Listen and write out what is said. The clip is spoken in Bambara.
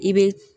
I bɛ